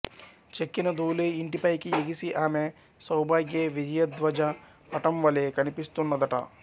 చెక్కిన ధూళి ఇంటి పైకి ఎగిసి అమె సౌభాగ్య విజయధ్వజ పటంవలె కనిపిస్తున్నదట